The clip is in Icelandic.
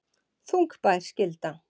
Þungbær skylda